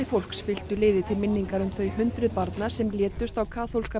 fólks fylktu liði til minningar um þau hundruð barna sem létust á kaþólska